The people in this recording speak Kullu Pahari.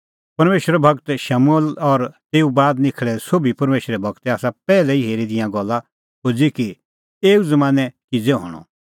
परमेशरो गूर शमूएल और तेऊ बाद निखल़ै दै सोभी परमेशरे गूरै आसा पैहलै ई हेरी दी ईंयां गल्ला खोज़ी कि एऊ ज़मानैं किज़ै हणअ